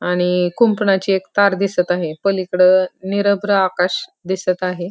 आणि कुंपणाची एक तार दिसत आहे आणि पलीकडं निरभ्र आकाश दिसत आहे.